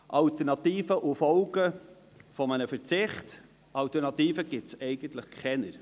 Alternativen zu und Folgen eines Verzichts: Alternativen gibt es eigentlich keine.